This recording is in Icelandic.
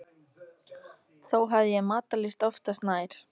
Þó hafði ég matarlyst oftast nær.